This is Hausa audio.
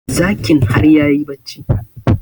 Zakin har yayi barci